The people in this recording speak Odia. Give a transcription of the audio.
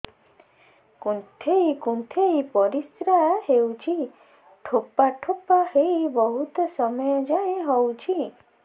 କୁନ୍ଥେଇ କୁନ୍ଥେଇ ପରିଶ୍ରା ହଉଛି ଠୋପା ଠୋପା ହେଇ ବହୁତ ସମୟ ଯାଏ ହଉଛି